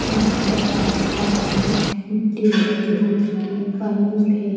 यहां पर रास्ता है मिट्टी लगी हो चुकी है पाइप है।